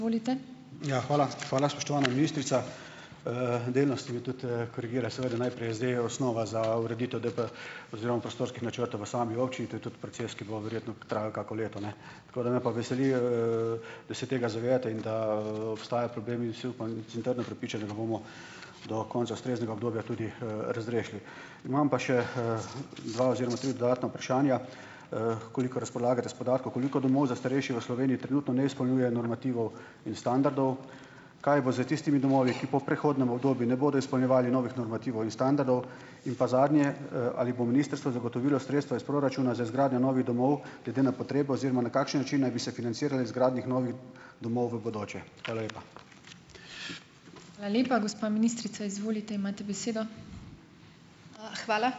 Ja, hvala. Hvala, spoštovana ministrica. Delno ste mi tudi, korigirali. Seveda najprej zdaj osnova za ureditev DP oziroma prostorskih načrtov v sami občini. To je tudi proces, ki bo verjetno trajal kako leto, ne. Tako da ...... Me pa veseli, da se tega zavedate in da, obstaja problem. In si upam in sem trdno prepričan, da ga bomo do konca ustreznega obdobja tudi, razrešili. Imam pa še, dva oziroma tri dodatna vprašanja, kolikor razpolagate s podatki. Koliko domov za starejše v Sloveniji trenutno ne izpolnjuje normativov in standardov? Kaj bo s tistimi domovi, ki po prehodnem obdobju ne bodo izpolnjevali novih normativov in standardov? In pa zadnje, ali bo ministrstvo zagotovilo sredstva iz proračuna za izgradnjo novih domov glede na potrebo oziroma na kakšen način naj bi se financirale izgradnje novih domov v bodoče? Hvala lepa.